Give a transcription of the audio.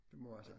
Det må være sådan